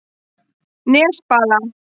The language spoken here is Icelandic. Nesbala